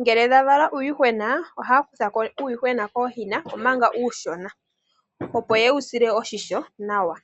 Ngele dha vala uuyuhwena, ohaya kuthako uuyuhwena kooyina omanga uushona opo ye wu sile oshimpwiyu nawa.